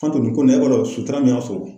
Fantan ni ko nin na, e b'a dɔn sutura mun y'a sɔrɔ;